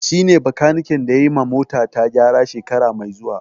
Shi ne bakaniken da yayi ma mota ta gyara shekara mai zuwa